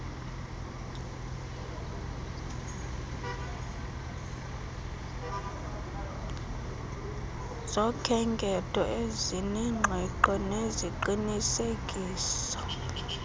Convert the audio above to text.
zokhenketho ezinengqiqo neziqinisekisa